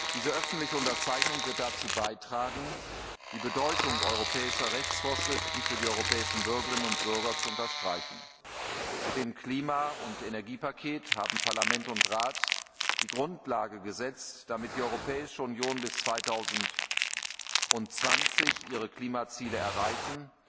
Diese öffentliche Unterzeichnung wird dazu beitragen, die Bedeutung europäischer Rechtsvorschriften für die europäischen Bürgerinnen und Bürger zu unterstreichen. Mit dem Klima und Energiepaket haben Parlament und Rat die Grundlage geschaffen, damit die Europäische Union bis 2020 ihre Klimaziele erreichen